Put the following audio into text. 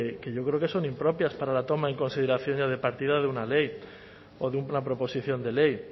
que yo creo que son impropias para la toma en consideración ya de partida de una ley o de una proposición de ley